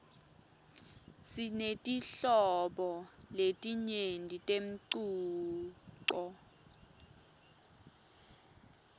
sinetinhlobo letinyenti temcuco